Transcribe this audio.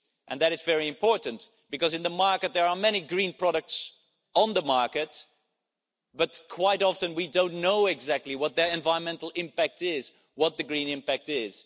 That is very important, because there are many green products on the market, but quite often we do not know exactly what their environmental impact is, what their green impact is.